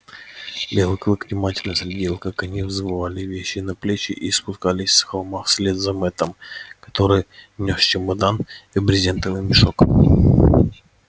белый клык внимательно следил как они взвалили вещи на плечи и спустились с холма вслед за мэттом который нёс чемодан и брезентовый мешок